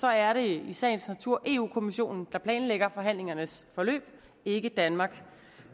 er det i sagens natur europa kommissionen der planlægger forhandlingernes forløb ikke danmark